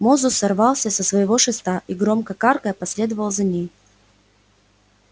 мозус сорвался со своего шеста и громко каркая последовал за ней